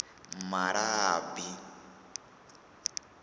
malabi